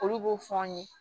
Olu b'o fɔ an ye